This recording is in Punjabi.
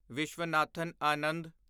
ਵਿਸ਼ਵਨਾਥਨ ਆਨੰਦ